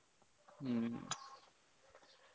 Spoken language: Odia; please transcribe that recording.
ହୁଁ